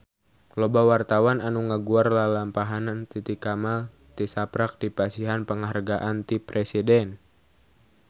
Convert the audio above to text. Loba wartawan anu ngaguar lalampahan Titi Kamal tisaprak dipasihan panghargaan ti Presiden